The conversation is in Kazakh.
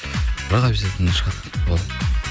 бірақ обьязательно шығады